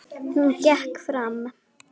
Hún gekk fram.